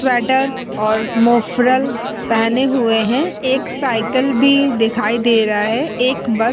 Sweater और muffler पहने हुए हैं। एक साइकिल भी दिखाई दे रही है। एक बस --